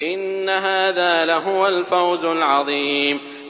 إِنَّ هَٰذَا لَهُوَ الْفَوْزُ الْعَظِيمُ